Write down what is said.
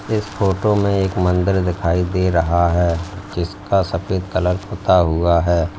इस फोटो में एक मंदिर दिखाई दे रहा है जिसका सफेद कलर पुता हुआ है।